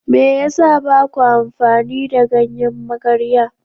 Me yasa baku amfani da ganyen magarya?